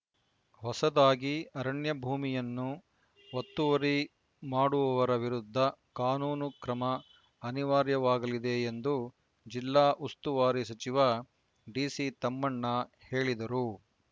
ಹೊಸದಾಗಿ ಅರಣ್ಯಭೂಮಿಯನ್ನು ಒತ್ತುವರಿ ಮಾಡುವವರ ವಿರುದ್ಧ ಕಾನೂನು ಕ್ರಮ ಅನಿವಾರ್ಯವಾಗಲಿದೆ ಎಂದು ಜಿಲ್ಲಾ ಉಸ್ತುವಾರಿ ಸಚಿವ ಡಿಸಿ ತಮ್ಮಣ್ಣ ಹೇಳಿದರು